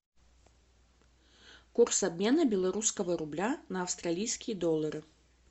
курс обмена белорусского рубля на австралийские доллары